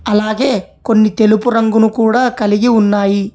అలాగే కొన్ని తెలుపు రంగును కూడా కలిగి ఉన్నాయి.